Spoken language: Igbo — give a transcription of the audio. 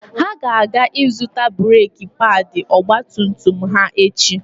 Ha ga-aga ịzụta breeki paadị ọgba tum tum ha echi.